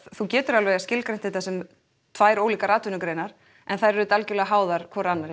þú getur skilgreint þetta sem tvær greinar en þær eru mjög háðar hvorri annarri